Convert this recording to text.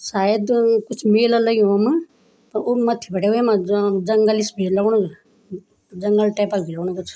सायद म-म कुछ मेला लग्युं वम अ ऊ मथ्थी बटे वेमा जां जंगल सि भी लगणु जंगल टैप क भी लगणु कुछ।